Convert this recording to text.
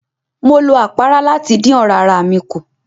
Mo lo àpárá láti dín ọ̀rá ara mi kùn.